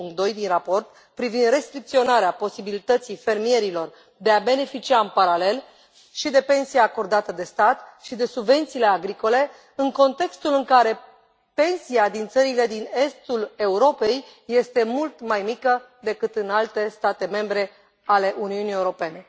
2.2 din raport privind restricționarea posibilității fermierilor de a beneficia, în paralel, și de pensie acordată de stat și de subvențiile agricole, în contextul în care pensia din țările din estul Europei este mult mai mică decât în alte state membre ale Uniunii Europene.